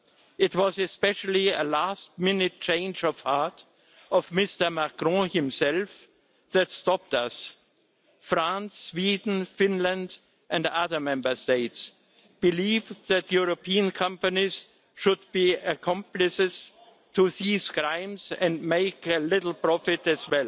It was, especially, a last minute change of heart by Mr Macron himself that stopped us France, Sweden, Finland and other Member States believe that European companies should be accomplices to these crimes and make a little profit as